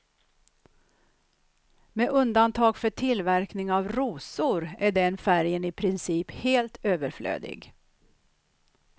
Med undantag för tillverkning av rosor är den färgen i princip helt överflödig.